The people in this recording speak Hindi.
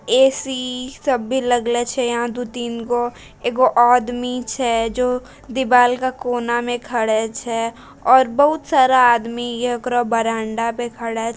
ए.सी. सभी लागलो छै यहाँ दो तीनगो एगो आदमी छै जो दीवाल के कोना में खड़ा छै और बहुत सारा आदमी एकरौ बरामदा पे खड़े --